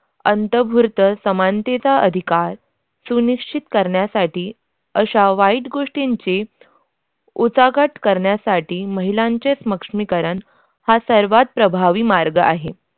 अंतर्भूत समानतेच्या अधिकार सुनिश्चित करण्यासाठी अशा वाईट गोष्टींची उचाकट करण्यासाठी महिलांचे सक्षमीकरण हा सर्वात प्रभावी मार्ग आहे.